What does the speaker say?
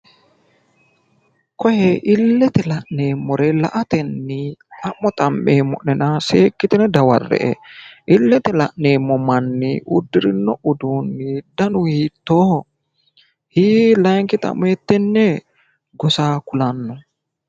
Kooye illete la'neemmore la"atenni xa'mo xa'meemmo'nena seekkitine dawarre"e, illete la'neemmo manni uddirino uduunni danu hiittoho? layiinki xa'mo hiittee gosa kulanno?